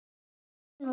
Þú ert minn maður.